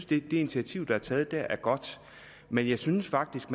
det initiativ der er taget der er godt men jeg synes faktisk